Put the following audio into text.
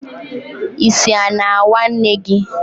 Isi a na-awa Nne gi?